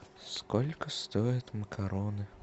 сколько стоят макароны